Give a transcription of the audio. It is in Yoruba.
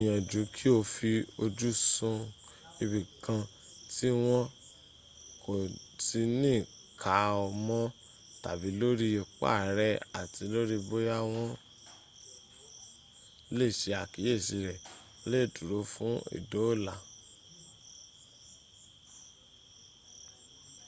gbìyànjú kí o fi ojú sun ibìkan tí wọ́n kò ti ní ká ọ mọ́ tàbí lórí ipa rẹ àti lórí bóyá wọ́n lè se àkíyèsí rẹ o lè dúró fún ìdóòlà